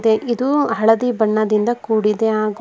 ಇದು ಹಳದಿ ಬಣ್ಣದಿಂದ ಕೂಡಿದೆ ಹಾಗೂ.